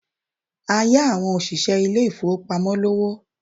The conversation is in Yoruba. A yá àwọn òṣìṣẹ́ ilé ìfowópamọ́ lówó.